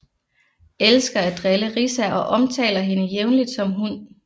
Elsker at drille Riza og omtaler hende jævnligt som hund